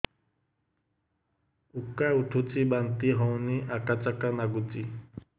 ଉକା ଉଠୁଚି ବାନ୍ତି ହଉନି ଆକାଚାକା ନାଗୁଚି